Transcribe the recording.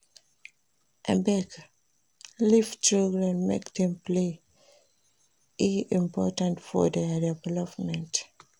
Abeg leave children make dem play e important for their development.